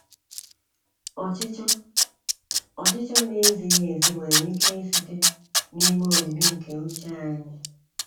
Ọchịchọ Ọchịchọ na-ezighi ezi nwere ike isite n’ime omimi nke uche anyị.